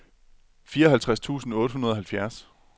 fireoghalvtreds tusind otte hundrede og halvfjerds